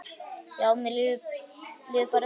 Já, mér líður bara vel.